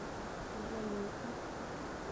злой мишка